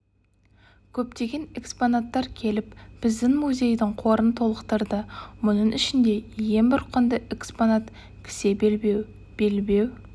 көптеген экспонаттар келіп біздің музейдің қорын толықтырды мұның ішінде ең бір құнды экспноат кісе белбеу белбеу